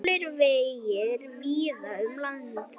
Hálir vegir víða um land